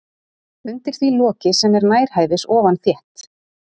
Undir því loki sem er nærhæfis ofan þétt